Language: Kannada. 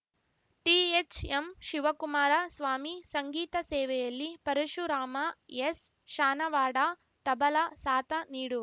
ಟಿಎಚ್‌ಎಂ ಶಿವಕುಮಾರ ಸ್ವಾಮಿ ಸಂಗೀತ ಸೇವೆಯಲ್ಲಿ ಪರಶುರಾಮ ಎಸ್‌ಶಾನವಾಡ ತಬಲ ಸಾಥ ನೀಡು